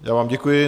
Já vám děkuji.